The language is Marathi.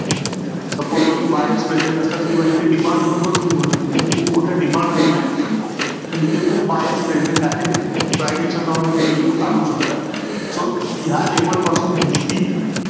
I आता IPL आपली एकतीस मार्च ला एकतीस मार्च ला चालू होणार आहे.